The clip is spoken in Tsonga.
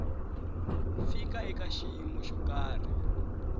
fika eka xiyimo xo karhi